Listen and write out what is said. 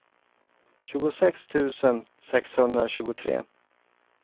tjugosex tusen sexhundratjugotre